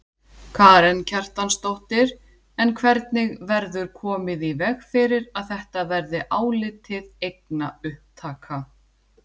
Karen Kjartansdóttir: En hvernig verður komið í veg fyrir að þetta verði álitið eignaupptaka?